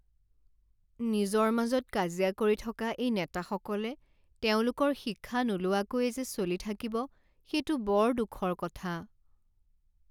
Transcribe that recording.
নিজৰ মাজত কাজিয়া কৰি থকা এই নেতাসকলে তেওঁলোকৰ শিক্ষা নোলোৱাকৈয়ে যে চলি থাকিব সেইটো বৰ দুখৰ কথা।